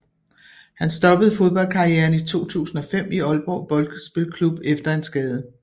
Han stoppede fodboldkarrieren i 2005 i Aalborg Boldspilklub efter en skade